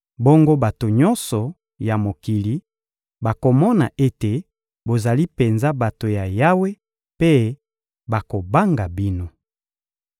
Bongo bato nyonso ya mokili bakomona ete bozali penza bato ya Yawe mpe bakobanga bino.